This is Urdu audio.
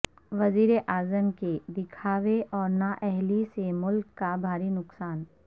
وزیر اعظم کے دکھاوے اور نا اہلی سے ملک کا بھاری نقصان